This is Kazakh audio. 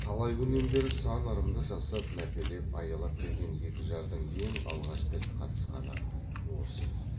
талай күннен бері сан ырымды жасап мәпелеп аялап келген екі жардың ең алғаш тіл қатысқаны осы еді